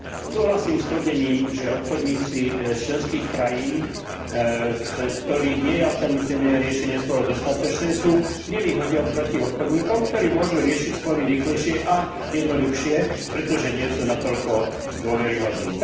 Súhlasím s tvrdením, že obchodníci z členských krajín, v ktorých nie je alternatívne riešenie sporov dostatočné, sú v nevýhode oproti obchodníkom, ktorí môžu riešiť spory rýchlejšie a jednoduchšie, pretože nie sú natoľko dôveryhodní.